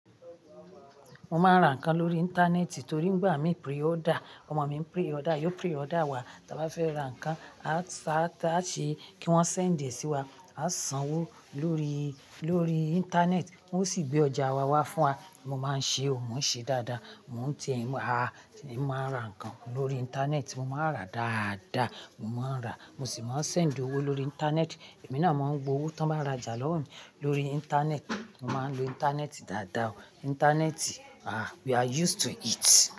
Mo máa ń ra ǹkan lórí íńtánẹ́ẹ̀tì torí nígbà mí pre-order, ọmọ mi ń pre-order, yóò pre-order wá. Tí a bá fẹ́ ra ǹkan, a sá a ṣe kí wọ́n sèǹdè sí wa, a san owó lórí, lórí íńtánẹ́ẹ̀tì, wọ́n sì gbé ọjà wa wá fún wa. Mo máa ń ṣe ò, mò ń ṣe dáadáa. Mò ń ti en wa, a sì máa ra ǹkan lórí íńtánẹ́ẹ̀tì. Mo máa ń rà dáadáa, mo máa ń rà. Mo sì máa ń sèǹdè owó lórí íńtánẹ́ẹ̀tì. Èmi náà máa ń gba owó tí wọ́n bá rajà lọ́wọ́ mi lórí íńtánẹ́ẹ̀tì. Mo máa ń lo íńtánẹ́ẹ̀tì dáadáa. Íńtánẹ́ẹ̀tì, ah! We are used to it.